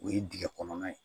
O ye dingɛ kɔnɔna ye